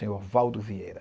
Senhor Valdo Vieira.